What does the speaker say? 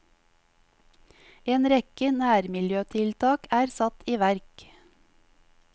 En rekke nærmiljøtiltak er satt i verk.